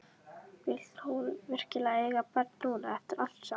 Vildi hún virkilega eiga barn núna, eftir allt saman?